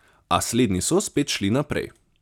A slednji so spet šli naprej.